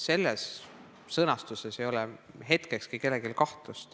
Sellise sõnastuse korral ei ole vastuses kellelgi hetkekski kahtlust.